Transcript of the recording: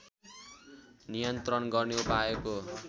नियन्त्रण गर्ने उपायको